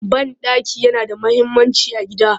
Banɗaki yana da muhimmanci a gida